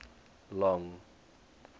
long